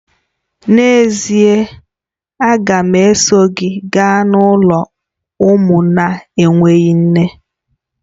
N'ezie!, a ga m eso gị gaa n'ụlọ ụmụ na-enweghị nne